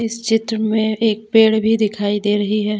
इस चित्र में एक पेड़ भी दिखाई दे रही है।